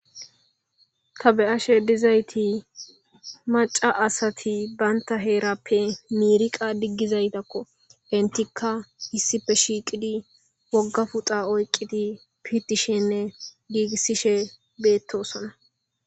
Ta beashe dizayiti macca assati banitta herape miriqa digizayatako. enitika issipe shiqidi wogga puxxa oyiqidi pitishene gigisishe betosona.